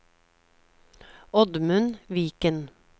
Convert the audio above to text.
Oddmund Viken